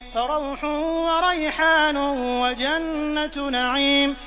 فَرَوْحٌ وَرَيْحَانٌ وَجَنَّتُ نَعِيمٍ